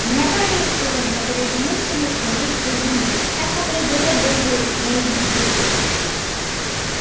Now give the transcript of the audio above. у меня тоже есть кузен который женился на своей кузине так поглядели бы вы на их детей